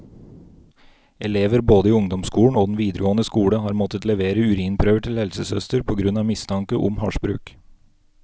Elever både i ungdomsskolen og den videregående skole har måttet levere urinprøver til helsesøster på grunn av mistanke om hasjbruk.